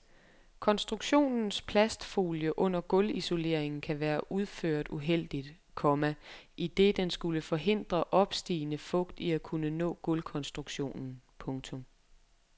Konstruktionens plastfolie under gulvisoleringen kan være udført uheldigt, komma idet den skulle forhindre opstigende fugt i at kunne nå gulvkonstruktionen. punktum